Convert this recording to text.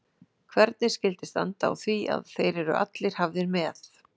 Hvernig skyldi standa á því að þeir eru allir hafðir með